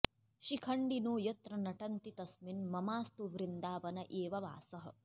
शिखण्डिनो यत्र नटन्ति तस्मिन् ममास्तु वृन्दावन एव वासः